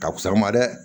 Ka fisa an ma dɛ